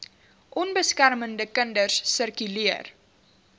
onbeskermde kinders sirkuleer